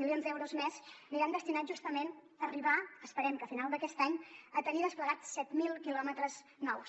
milions d’euros més aniran destinats justament a arribar esperem que a final d’aquest any a tenir desplegats set mil quilòmetres nous